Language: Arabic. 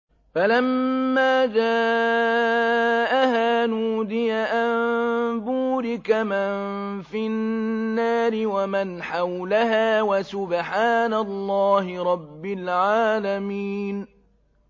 فَلَمَّا جَاءَهَا نُودِيَ أَن بُورِكَ مَن فِي النَّارِ وَمَنْ حَوْلَهَا وَسُبْحَانَ اللَّهِ رَبِّ الْعَالَمِينَ